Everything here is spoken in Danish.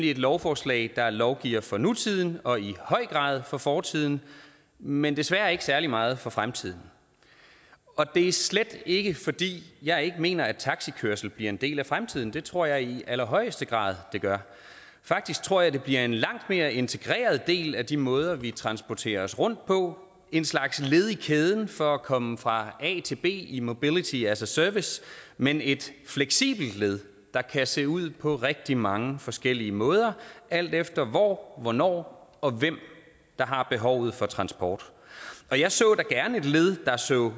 et lovforslag der lovgiver for nutiden og i høj grad for fortiden men desværre ikke særlig meget for fremtiden og det er slet ikke fordi jeg ikke mener at taxikørsel bliver en del af fremtiden det tror jeg i allerhøjeste grad den gør faktisk tror jeg at det bliver en langt mere integreret del af de måder vi transporterer os rundt på et slags led i kæden for at komme fra a til b i mobility as a service men et fleksibelt led der kan se ud på rigtig mange forskellige måder alt efter hvor hvornår og hvem der har behovet for transport jeg så da gerne et led der så